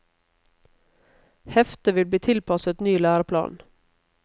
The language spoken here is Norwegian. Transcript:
Heftet vil bli tilpasset ny læreplan.